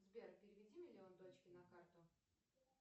сбер переведи миллион дочке на карту